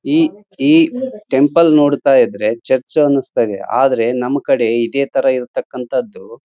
mask ಅಂತ ಕಾಣ್ತಾ ಇದ್ರೆ ಅದರ ಮೇಲ್ಗಡೆ ಕ್ರಾಸ್ ಮಾರ್ಕ್ ಇರುವುದರಿಂದ ಯಾವುದು ಕ್ರಿಶ್ಚಿಯನ್ ಅವರ್ದು--